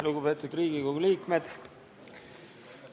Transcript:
Lugupeetud Riigikogu liikmed!